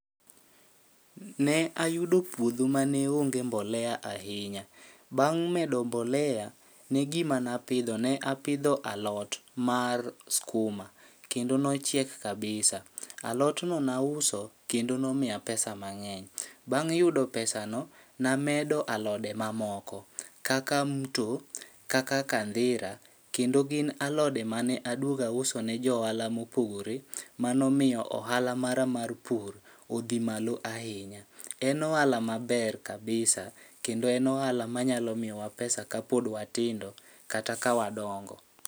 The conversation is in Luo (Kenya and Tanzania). Ne ayudo puodho mane onge mbolea ahinya. Bang' medo mbolea ne gima napidho, napidho alot mar skuma kendo nochiek kabisa. Alot no nauso kendo nomiya pesa mang'eny. Bang' yudo pesa no, namedo alode ma moko kaka mto, kaka kandhira, kendo gin alode mane aduoga uso ne joala mopogore. Manomiyo ohala mara mar pur odhi malo ahinya, en ohala maber kabisa kendo en ohala ma nyalo miyowa pesa ka pod watindo kata ka wadongo.